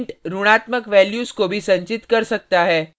int ऋणात्मक values को भी संचित कर सकता है